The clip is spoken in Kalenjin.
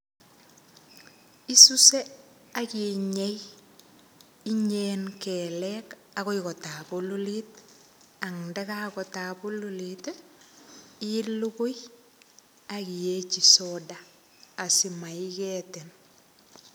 Isuse ak inyei, inyeen kelek agoi kotabululit. Ndakakotabululit, iligui ak iyechi soda asimaigetin.